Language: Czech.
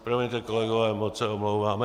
Promiňte, kolegové, moc se omlouvám.